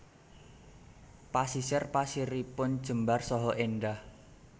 Pasisir pasiripun jembar saha éndah